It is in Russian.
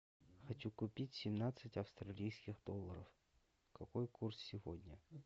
хочу купить семнадцать австралийских долларов какой курс сегодня